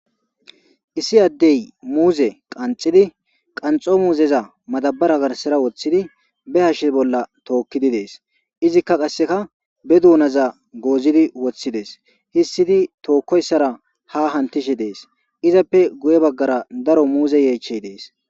Issi addey muuze qanxidi qanxo muuzeza madabara garsara woththidi be hashshe bolla tookkidi dees izikka qasseka be duunaza goozini woththidees hissidi tookkoyssara ha hantishe dees izappe guye baggara daro muuze yeechey dees